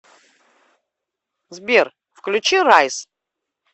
сбер включи райз